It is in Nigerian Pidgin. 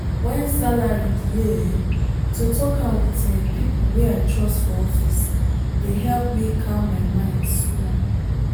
when salary delay um to talk am with um people wey i trust for office dey help me calm my mind small.